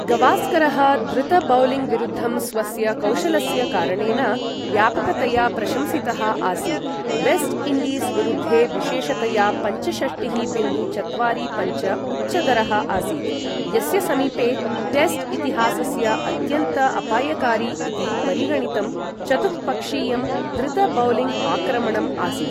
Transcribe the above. गवास्करः द्रुत बौलिङ्ग विरुद्धं स्वस्य कौशलस्य कारणेन व्यापकतया प्रशंसितः आसीत्, वेस्ट् इण्डीस् विरुद्धे विशेषतया पञ्चषष्टिः बिन्दु चत्वारि पञ्च उच्चदरः आसीत् , यस्य समीपे टेस्ट् इतिहासस्य अत्यन्त अपायकारी इति परिगणितं चतुः पक्षीयं द्रुत बौलिङ्ग् आक्रमणम् आसीत्।